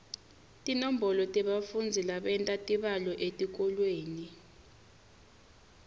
tinombolo tebafundzi labenta tibalo etikolweni